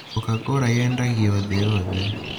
Coca-Cola yendagio thĩ yothe.